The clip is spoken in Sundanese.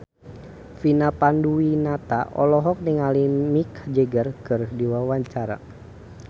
Vina Panduwinata olohok ningali Mick Jagger keur diwawancara